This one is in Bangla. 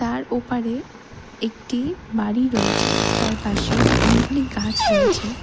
তার ওপারে একটি বাড়ি রয়েছে তার পাশে অনেকগুলি গাছ রয়েছে।